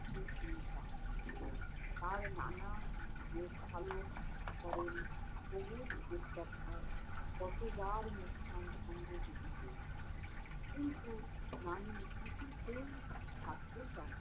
চিন্তা করে! তার নানা মেষ পালক করেন, সবুজ উপত্যকায়। কতোবার মুসকান সঙ্গে যেতে চেয়েছে। কিন্তু নানী কিছুতেই ছাড়তে চান না।